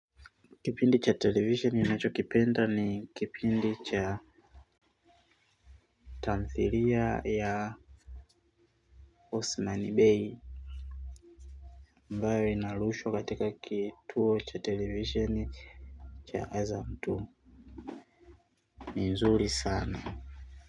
Kipindi cha television ninachokipenda ni kipindi cha tamthilia ya Osmani Bey ambayo inarushwa katika kituo cha television cha azam two ni nzuri sana.